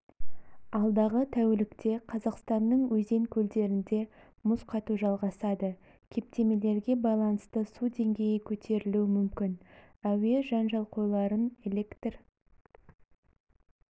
алдағы тәулікте қазақстанның өзен-көлдерінде мұз қату жалғасады кептемелерге байланысты су деңгейі көтерілуі мүмкін әуе жанжалқойларын электр